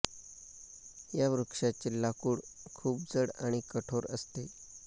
या वृक्षाचे लाकूड खूप जड आणि कठोर असते